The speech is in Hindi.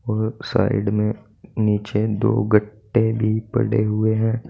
और साइड में नीचे दो गट्टे भी पड़े हुए हैं।